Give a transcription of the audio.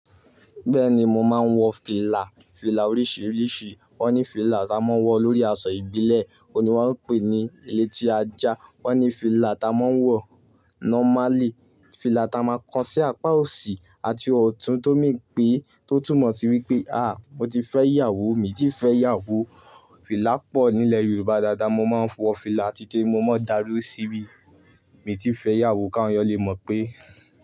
Bẹ́ẹ̀ni mo máa ń wọ fìlà. Fìlà oríṣìíríṣìí. Wọ́n ní fìlà tá a máa ń wọ lórí aṣọ ìbílẹ̀, òun ni wọ́n ń pè ní eleti ajá. Wọ́n ní fìlà tá a máa ń wọ nọ́málì, fìlà tá a máa ko sí apá òsì àti ọ̀tún tó mean pé tó tùmọ̀ sí wípé, àá mo ti fẹ́ ìyàwó, mii ti fẹ́ ìyàwó. Fìlà pọ̀ nílẹ̀ Yorùbá dáadáa. Mo máa ń wọ fìlà titun mo máa ń darí síbi. Mii ti fẹ́ ìyàwó ká won eeyan lé mọ̀ pé.